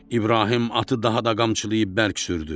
İbrahim atı daha da qamçılayıb bərk sürdü.